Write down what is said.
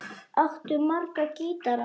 Áttu marga gítara?